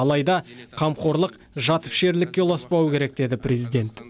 алайда қамқорлық жатыпішерлікке ұласпауы керек деді президент